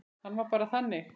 Hann var bara þannig.